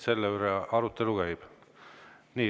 Selle üle see arutelu käib.